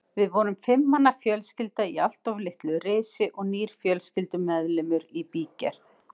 Við vorum fimm manna fjölskylda í allt of litlu risi og nýr fjölskyldumeðlimur í bígerð.